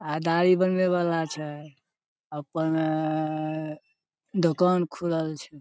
आय दाढ़ी बनबे वला छै अपन अ अ अ दुकान खूलल छै।